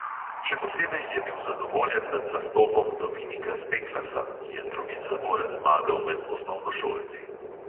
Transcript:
Še posebej je bil zadovoljen nad nastopom dominika steklasa, ki je drugič zapored zmagal med osnovnošolci.